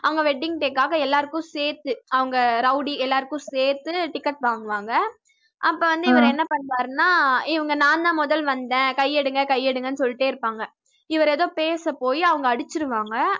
அங்க wedding day க்காக எல்லாருக்கும் சேர்த்து அவஙக rowdy எல்லாருக்கும் சேர்த்து ticket வாங்குவாங்க அப்ப வந்து இவரு என்ன பண்ணுவாருனா இவங்க நான் தான் முதல் வந்தேன் கை எடுங்க கை எடுங்கன்னு சொல்லிட்டே இருப்பாங்க இவரு ஏதோ பேச போயி அவங்க அடிச்சிடுவாங்க